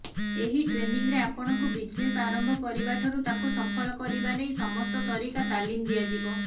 ଏହି ଟ୍ରେନିଂରେ ଆପଣଙ୍କୁ ବିଜନେସ ଆରମ୍ଭ କରିବାଠାରୁ ତାକୁ ସଫଳ କରିବା ନେଇ ସମସ୍ତ ତରିକା ତାଲିମ ଦିଆଯିବ